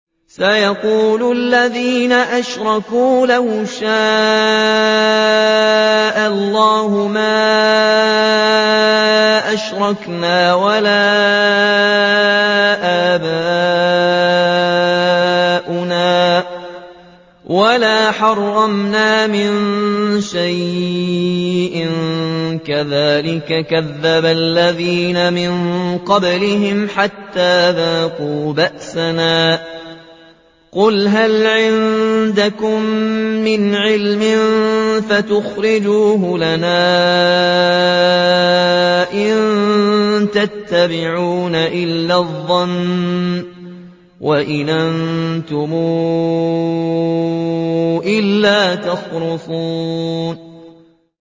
سَيَقُولُ الَّذِينَ أَشْرَكُوا لَوْ شَاءَ اللَّهُ مَا أَشْرَكْنَا وَلَا آبَاؤُنَا وَلَا حَرَّمْنَا مِن شَيْءٍ ۚ كَذَٰلِكَ كَذَّبَ الَّذِينَ مِن قَبْلِهِمْ حَتَّىٰ ذَاقُوا بَأْسَنَا ۗ قُلْ هَلْ عِندَكُم مِّنْ عِلْمٍ فَتُخْرِجُوهُ لَنَا ۖ إِن تَتَّبِعُونَ إِلَّا الظَّنَّ وَإِنْ أَنتُمْ إِلَّا تَخْرُصُونَ